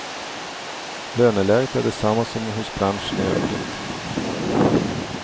Löneläget är detsamma som hos branschen i övrigt.